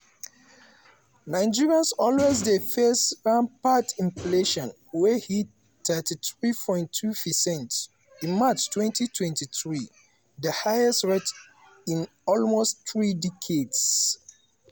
nigerians also dey face rampant inflation wey hit 33.2 percent in march 2023 di highest rate in almost three decades.